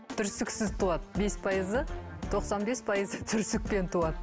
түрсіксіз туады бес пайызы тоқсан бес пайызы түрсікпен туады